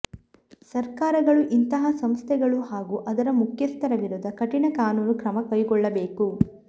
ಸರಕಾರಗಳು ಇಂತಹ ಸಂಸ್ಥೆಗಳು ಹಾಗೂ ಅದರ ಮುಖ್ಯಸ್ಥರ ವಿರುದ್ಧ ಕಠಿಣ ಕಾನೂನು ಕ್ರಮ ಕೈಗೊಳ್ಳಬೇಕು